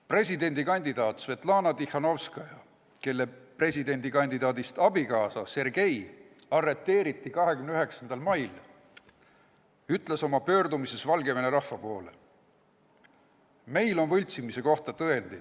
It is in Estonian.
Presidendikandidaat Svetlana Tihhanovskaja, kelle presidendikandidaadist abikaasa Sergei arreteeriti 29. mail, ütles pöördumises Valgevene rahva poole: "Meil on võltsimise kohta tõendeid.